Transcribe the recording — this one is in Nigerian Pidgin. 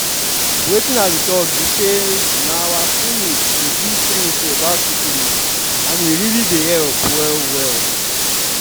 wetin i dey talk be say na our clinic dey give free info about syphilis and e really dey help well well